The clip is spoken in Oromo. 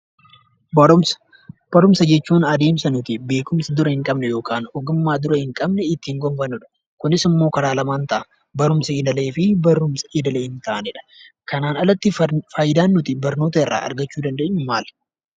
Barumsa: Barumsa jechuun adeemsa nuti beekumsa dura hin qabne yookaan ogummaa dura hin qabne itti gonfannudha. Kunis immoo karaa lamaan ta: barumsa idilee fi barumsa idilee hin taanedha. Kanaan alatti faayidaan nuti barnoota irraa argachuu dandeenyu maali?